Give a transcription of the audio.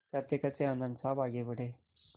कहतेकहते आनन्द साहब आगे बढ़े